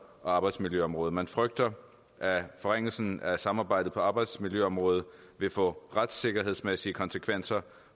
og arbejdsmiljøområdet og man frygter at forringelsen af samarbejdet på arbejdsmiljøområdet vil få retssikkerhedsmæssige konsekvenser